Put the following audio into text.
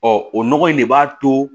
Ɔ o nɔgɔ in de b'a to